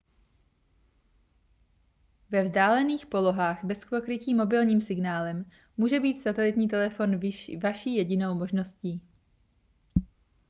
ve vzdálených polohách bez pokrytí mobilním signálem může být satelitní telefon vaší jedinou možností